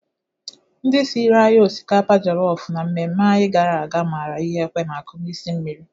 Ndị siri anyị osikapa jọlọfụ na mmemme anyị gara aga mara ihe ekwe na-akụ n'isi nri.